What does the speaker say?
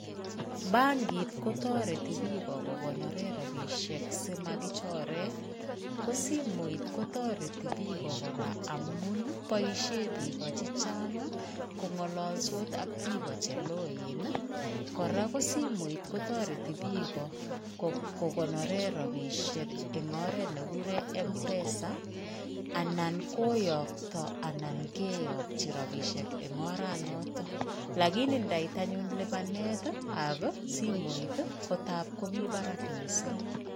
Bankit kotoreti bik kogonoren rabisiek si magichoren, ko simoit ko tareti bik abogora amun ii boisien bik o chechang kongalalsot ak bik o cheloen ii. Kora ko simoit kotareti bik kokonoren ropisiek eng oret ne kiguren Mpesa anan koyakto anan keyakyi eng oranotok. lakini ndait any lupanetab simuit ko tap komi barak missing